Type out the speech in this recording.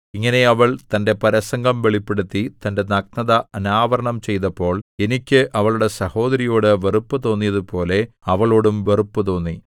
ഇങ്ങനെ അവൾ തന്റെ പരസംഗം വെളിപ്പെടുത്തി തന്റെ നഗ്നത അനാവരണം ചെയ്തപ്പോൾ എനിക്ക് അവളുടെ സഹോദരിയോട് വെറുപ്പു തോന്നിയതുപോലെ അവളോടും വെറുപ്പുതോന്നി